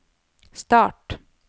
start